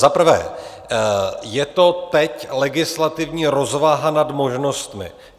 Za prvé je to teď legislativní rozvaha nad možnostmi.